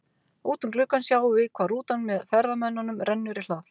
Út um gluggann sjáum við hvar rútan með ferðamönnunum rennur í hlað.